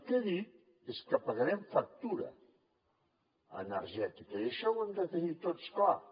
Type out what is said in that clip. el que he dit és que pagarem factura energètica i això ho hem de tenir tots clar